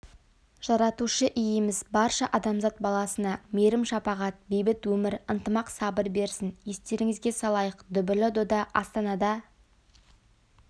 жаратушы иеміз барша адамзат баласына мейірім-шапағат бейбіт өмір ынтымақ сабыр берсін естеріңізге салайық дүбірлі дода астанада